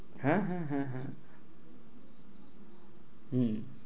হ্যাঁ, হ্যাঁ, হ্যাঁ, হ্যাঁ, হ্যাঁ, হম